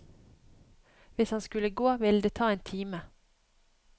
Hvis han skulle gå, ville det ta en time.